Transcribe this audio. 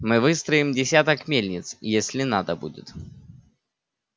мы выстроим десяток мельниц если надо будет